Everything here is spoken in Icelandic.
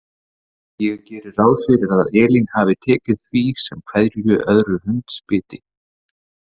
Ég geri ráð fyrir að Elín hafi tekið því sem hverju öðru hundsbiti.